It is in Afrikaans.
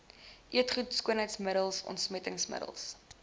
eetgoed skoonheidsmiddels ontsmettingsmiddels